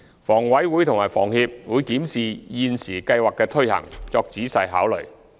房委會會檢視房協現時計劃的推行，作仔細考慮。